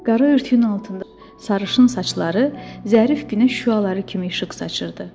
Qara örtüyün altında sarışın saçları zərif günəş şüaları kimi işıq saçırdı.